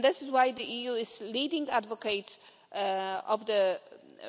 This is why the EU is a leading advocate of the